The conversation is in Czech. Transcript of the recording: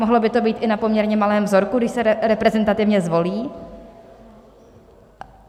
Mohlo by to být i na poměrně malém vzorku, když se reprezentativně zvolí.